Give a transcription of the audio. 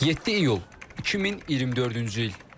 7 iyul 2024-cü il.